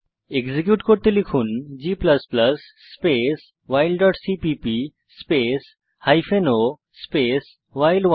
execute করতে লিখুন g space file dot CPP space hyphen o space ভাইল1